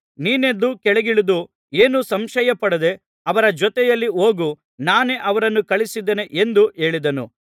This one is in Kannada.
ನೀನೆದ್ದು ಕೆಳಗಿಳಿದು ಏನೂ ಸಂಶಯಪಡದೆ ಅವರ ಜೊತೆಯಲ್ಲಿ ಹೋಗು ನಾನೇ ಅವರನ್ನು ಕಳುಹಿಸಿದ್ದೇನೆ ಎಂದು ಹೇಳಿದನು